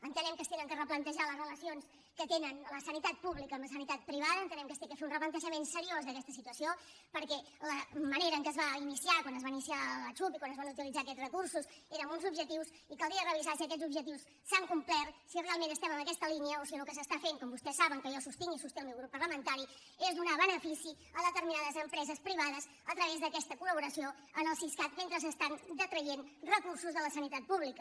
entenem que s’han de replantejar les relacions que tenen la sanitat pública i la santita privada entenem que s’ha de fer un replantejament seriós d’aquesta situació perquè la manera en què es va iniciar quan es va iniciar la xhup i quan es van utilitzar aquests recursos era amb uns objectius i caldria revisar si aquests objectius s’han complert si realment estem en aquesta línia o si el que s’està fent com vostès saben que jo sostinc i sosté el meu grup parlamentari és donar benefici a determinades empreses privades a través d’aquesta col·traient recursos de la sanitat pública